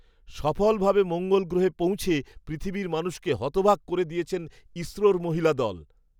সফলভাবে মঙ্গল গ্রহে পৌঁছে পৃথিবীর মানুষকে হতবাক করে দিয়েছেন ইসরোর মহিলা দল।